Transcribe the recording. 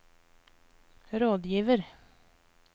rådgiver